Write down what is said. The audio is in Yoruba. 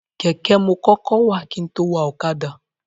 Kẹ̀kẹ́ mo kọ́kọ́ wà kin tó wa ọ̀kadà.